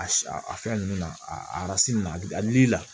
A si a fɛn ninnu na aransi nun na a bɛ a dili la